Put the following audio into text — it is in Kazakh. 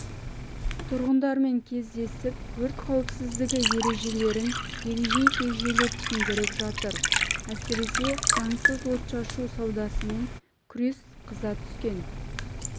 тұрғындармен кездесіп өрт қауіпсіздігі ережелерін егжей-тегжейлі түсіндіріп жатыр әсіресе заңсыз отшашу саудасымен күрес қыза түскен